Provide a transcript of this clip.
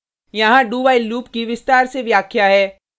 यहाँ dowhile loop की विस्तार से व्याख्या है